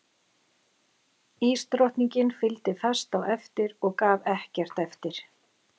Ísdrottningi fylgdi fast á eftir og gaf ekkert eftir.